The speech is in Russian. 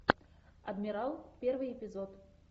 адмирал первый эпизод